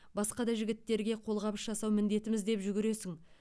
басқа да жігіттерге қолғабыс жасау міндетіміз деп жүгіресің